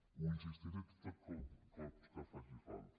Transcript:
hi insistiré tots els cops que faci falta